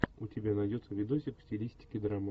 у тебя найдется видосик в стилистике драма